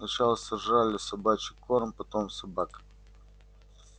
сначала сожрала собачий корм потом собак